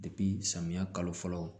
samiya kalo fɔlɔ